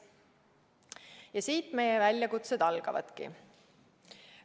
Ja siit meie väljakutsed algavadki.